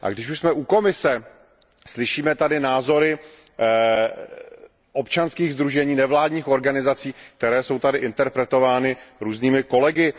A když už jsme u Komise, slyšíme tady názory občanských sdružení, nevládních organizací, které jsou tady interpretovány různými kolegy.